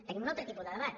tenim un altre tipus de debat